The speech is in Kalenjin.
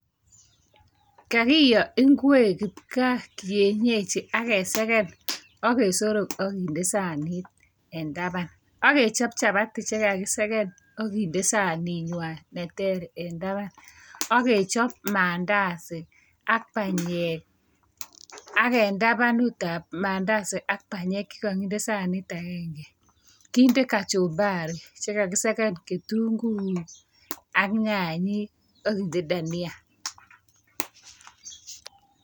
Kakiyo ingwek kibka kienyechi akiseken akesorok akinde sanitenbtaban agechob chabati chekakiseken akinde sanit nywan neter en taban akechob mandasi ak banyek ak en taban ak mandasi ak banyek chekakinde sanit agenge kinde kachumbari chekakiseken kitunguik ak nyanyik akinde Dania